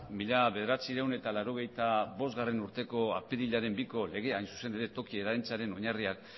mila bederatziehun eta laurogeita bostgarrena urteko apirilaren biko legea hain zuzen ere toki oinarriak